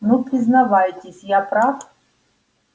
ну признавайтесь я прав